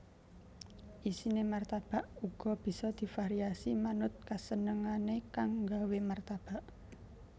Isiné martabak uga bisa divariasi manut kasenengané kang nggawé martabak